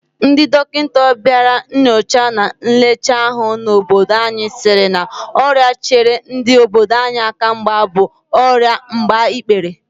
Ndị dọkịta bịara nnyocha na nlecha ahụ n'obodo anyị sịrị na ọrịa chere ndị obodo anyị aka mgba bụ ọrịa agbaikpere